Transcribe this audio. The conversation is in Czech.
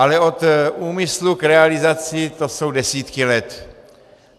Ale od úmyslu k realizaci jsou to desítky let.